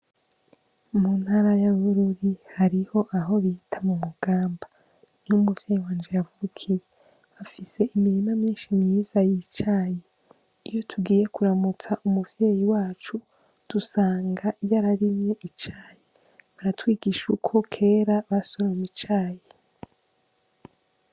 Muntara ya Bururi hariho aho bita mumugamba. Niho umuvyeyi wanje yavukiye. Hafise imirima myinshi myiza y'icayi. Iyo tugiye kuramutsa umuvyeyi wacu, dusanga yararimye icayi. Aratwigisha uko kera basoroma icayi.